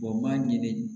Wa m'a ɲini